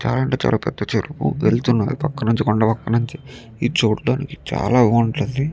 చాలా అంటే చాలా పెద్ద చెరువు వెళుతున్నది పక్క నుంచి కొండ పక్క నుంచి ఇది చూడడానికి చాలా బాగుంటది.